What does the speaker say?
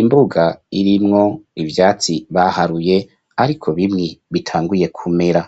imbuga irimwo ivyatsi, baharuye, ariko bimwe, bitanguye kumera.